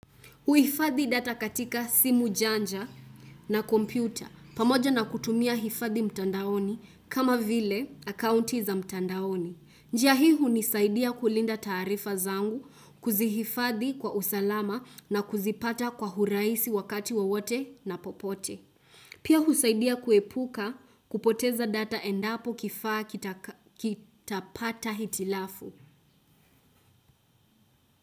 Huifadhi data katika simu janja na kompyuta pamoja na kutumia hifadhi mtandaoni kama vile akaunti za mtandaoni. Njia hii hunisaidia kulinda taarifa zangu kuzihifadhi kwa usalama na kuzipata kwa huraisi wakati wowote na popote. Pia husaidia kuepuka kupoteza data endapo kifaa kitapata hitilafu.